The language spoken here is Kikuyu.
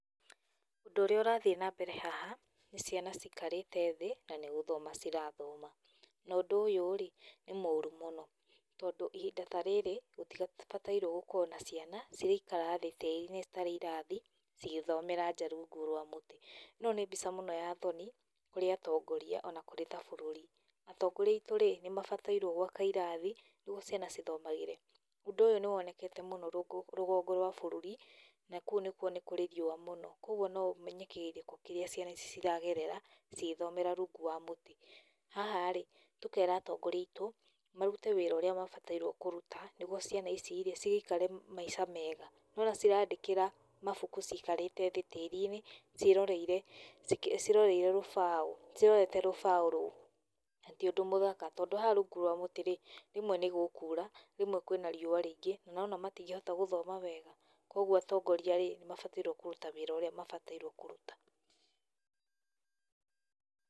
Ũndũ ũrĩa ũrathiĩ nambere haha nĩ ciana cikarĩte thĩ, na nĩ gũthoma cirathoma. Na ũndũ ũyũrĩ nĩ mũrũ mũno. Tondũ ihinda ta rĩrĩ, gũtibataire gũkorwo na ciana ciraikara thĩ tĩri-inĩ citarĩ irathi cigĩthomera nja rũngũ rwa mũtĩ. No nĩ mbica mũno ya thoni, kũrĩ atongoria ona kũrĩ ta bũrũri. Atongoria aitũrĩ nĩmabatairrũo gwaka irathi, nĩgũo ciana cithomagĩre kũo. Ũndũ ũyũ nĩwonekete mũno rũgongo rwa bũrũri, na kũũ nakũo nĩkũrĩ riũa mũno. Kũogũo noũmenye kĩgirĩko kĩrĩa ciana ici ciragerera, cigĩthomera rũngũ wa mũtĩ. Haharĩ, tũkera atongoria aitũ, marũte wĩra ũrĩa mabatairũo nĩ kũrũta, nĩgũo ciana icirĩ, cigĩikare maica mega. Nĩwona cirandĩkĩra mabũkũ cikarĩte thĩ tĩri-inĩ ciĩroreirerũba, ciĩroreire rũbaũ, cirorete rũbaũ rũũ. Na ti ũndũ mũthaka, tondũ haha rũngũ rwa mũtĩrĩ, rwĩmwe nĩgũkũra, rwĩmwe kwĩna riũa rĩingĩ na nĩwona matingĩhota gũthoma wega, kũogũo atongoriarĩ, nĩmabatairũo kũrũta wĩra ũrĩa mabatairũo kũrũta.